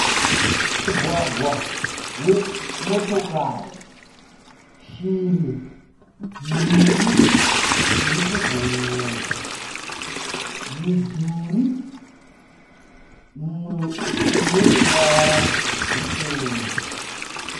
Mugwagwa we motokari, shiri mbiri dziri kubhururuka, midhuri mumwe une ruwara ruchena.